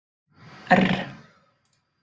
R